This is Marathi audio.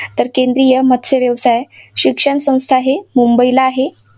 तर केंद्रीय मत्स्य व्यवसाय शिक्षण संस्था हे मुंबईला आहे.